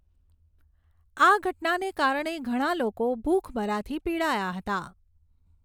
આ ઘટનાને કારણે ઘણા લોકો ભૂખમરાથી પીડાયા હતા.